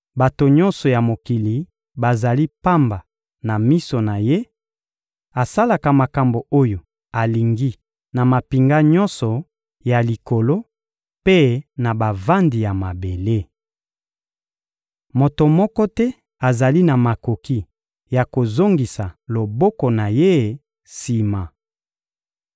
Bato nyonso ya mokili bazali pamba na miso na Ye; asalaka makambo oyo alingi na mampinga nyonso ya likolo mpe na bavandi ya mabele. Moto moko te azali na makoki ya kozongisa loboko na Ye sima.